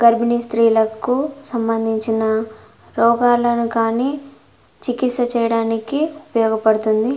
గర్భిణీ స్త్రీలకు సంబందించిన రోగాలను కానీ చికిత్స చేయడానికి ఉపయోగపడుతుంది.